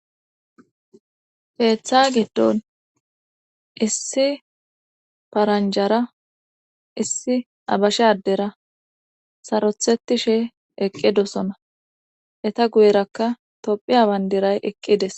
keeththa giddon issi paranjara issi abashe addera sarotheti she eqqidosona eta guyerakka tophiya bandiray eqqides